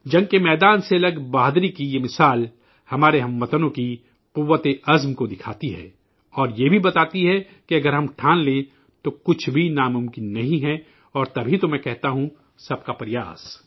جنگ کے میدان سے الگ بہادری کی یہ مثال ہمارے ہم وطنوں کی قوتِ ارادی کو ظاہر کرتی ہے اور یہ بھی بتاتی ہے کہ اگر ہم پرعزم ہیں تو کچھ بھی ناممکن نہیں اور تبھی تو میں کہتا ہوں کہ سب کا پریاس